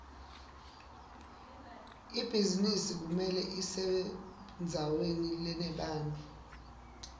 ibhizinisi kumele ibesendzaweni lenebantfu